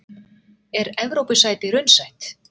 Er Evrópusæti raunsætt?